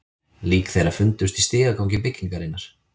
Lík þeirra fundust í stigagangi byggingarinnar